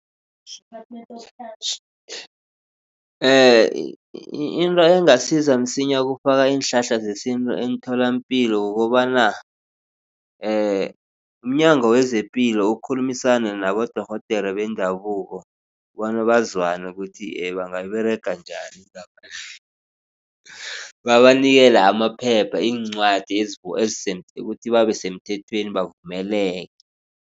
Into engasiza msinya ukufaka iinhlahla zesintu emtholapilo kukobana umnyango wezepilo ukhulumisane nabodorhodere bendabuko bona bazwane ukuthi bangayiberega njani indaba le. Babanikele amaphepha iincwadi ukuthi babe semthethweni bavumeleke.